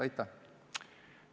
Aitäh!